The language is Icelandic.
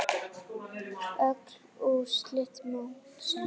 Öll úrslit mótsins